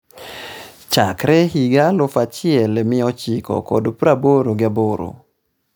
chakre higa alufu achiel mia ochiko kod praboro gi aboro